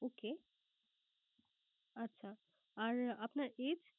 Okay আচ্ছা আর আপনার Age